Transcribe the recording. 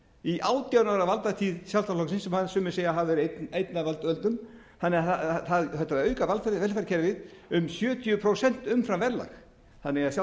í átján ára valdatíð sjálfstæðisflokksins sem sumir segja að hafi verið einn að völdum þannig að það var hægt að auka velferðarkerfið um sjötíu prósent umfram verðlag þannig að